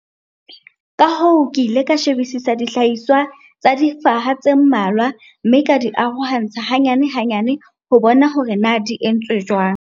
Ka hoo ke ile ka shebisisa dihlahiswa tsa difaha tse mmalwa mme ka di arohantsha hanyane-hanyane ho bona hore na di entswe jwang.